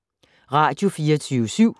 Radio24syv